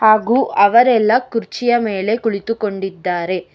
ಹಾಗೂ ಅವರೆಲ್ಲ ಕುರ್ಚಿಯ ಮೇಲೆ ಕುಳಿತು ಕೊಂಡಿದ್ದಾರೆ.